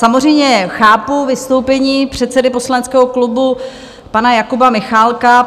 Samozřejmě chápu vystoupení předsedy poslaneckého klubu pana Jakuba Michálka.